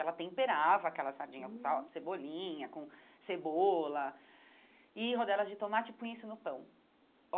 Ela temperava aquela sardinha com sal cebolinha, com cebola, e rodelas de tomate e punha isso no pão.